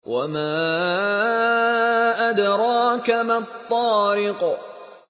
وَمَا أَدْرَاكَ مَا الطَّارِقُ